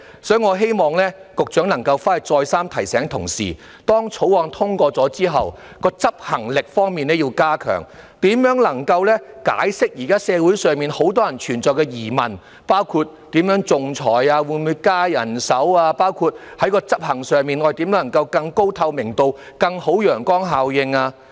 所以，我希望局長能夠再三提醒同事，要加強《條例草案》通過後的執行能力，能夠釋除現時社會上很多人的疑問，包括如何仲裁、會否增加人手，以及執行上如何能夠做到更高透明度和更好的陽光效應。